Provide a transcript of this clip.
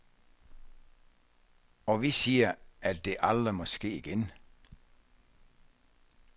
Og vi siger, at det aldrig må ske igen.